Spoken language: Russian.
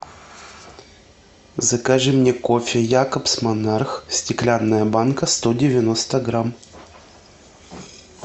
закажи мне кофе якобс монарх стеклянная банка сто девяносто грамм